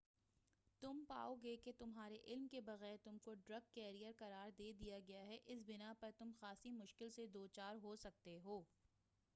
تم پاؤ گے کہ تمہارے علم کے بغیر تم کو ڈرگ کیریر قرار دے دیا گیا ہے اس بنا پر تم خاصی مشکل سے دوچار ہو سکتے ہو